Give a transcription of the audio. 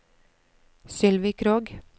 Sylvi Krogh